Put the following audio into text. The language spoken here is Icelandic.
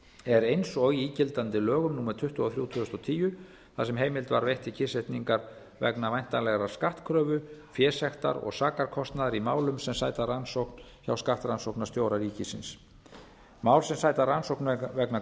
er eins og í gildandi lögum númer tuttugu og þrjú tvö þúsund og tíu þar sem heimild var veitt til kyrrsetningar vegna væntanlegrar skattkröfu fésektar og sakarkostnaðar í málum sem sæta rannsókn hjá skattrannsóknarstjóra ríkisins mál sem sæta rannsókn vegna